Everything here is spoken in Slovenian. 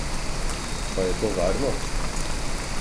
Pa je to varno?